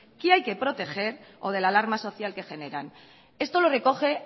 que hay que proteger o de la alarma social que generan esto lo recoge